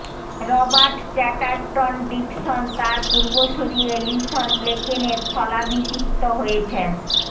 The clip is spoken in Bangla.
রবার্ট চ্যাটার্টন ডিকসন তার পূর্বসুরী এলিসন ব্লেকেনের স্থলাভিষিক্ত হয়েছেন